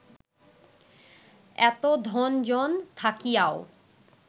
এত ধন জন থাকিয়াও